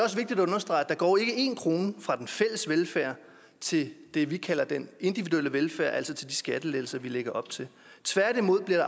er går én krone fra den fælles velfærd til det vi kalder den individuelle velfærd altså til de skattelettelser vi lægger op til tværtimod bliver